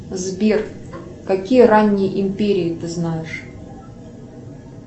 сбер какие ранние империи ты знаешь